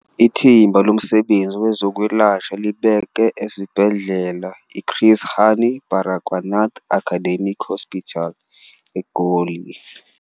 Ithimba Lomsebenzi Wezo kwelashwa libekwe esibhedlela i-Chris Hani Baragwanath Academic Hospital eGoli.